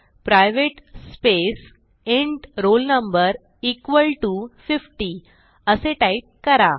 private space int roll no50 असे type करा